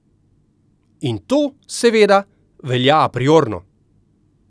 In to, seveda, velja apriorno!